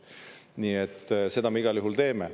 Nii et seda me igal juhul teeme.